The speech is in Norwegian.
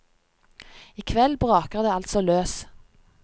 I kveld braker det altså løs.